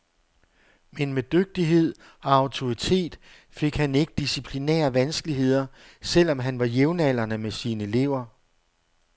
Men med dygtighed og autoritet, fik han ikke disciplinære vanskeligheder, selv om han var jævnaldrende med sine elever.